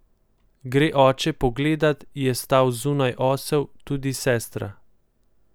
Gre oče pogledat, je stal zunaj osel, tudi sestra.